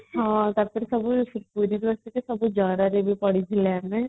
ଟା ପରେ ସବୁ ଜର ରେ ବି ପଡିଥିଲା ନା